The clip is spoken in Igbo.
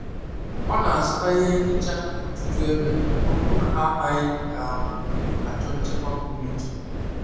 ọ na-azụta ihe nhicha n’ọtụtù ebe ọ bụ na ha anaghị um achọ nchekwa pụrụ iche.